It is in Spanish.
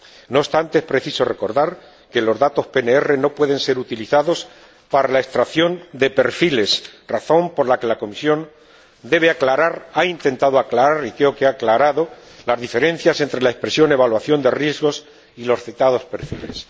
No obstante, es preciso recordar que los datos PNR no pueden ser utilizados para la extracción de perfiles, razón por la que la Comisión ha intentado aclarar —y creo que ha aclarado— las diferencias entre la expresión evaluación de riesgos y los citados perfiles.